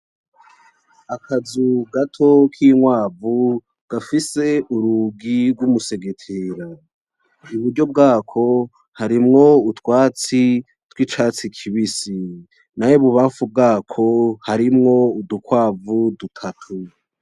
Akazu gato k'inkwavu gafise urugi rw'umusegetera. Iburyo bwako harimo utwatsi tw'icatsi kibisi, nayo ibubamfu bwako harimwo udukwavu dutatu.